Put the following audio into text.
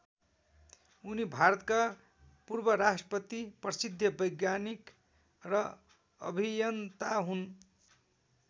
उनी भारतका पूर्व राष्ट्रपति प्रसिद्ध वैज्ञानिक र अभियन्ता हुन्।